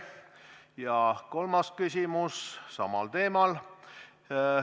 Ja kolmas küsimus samal teemal.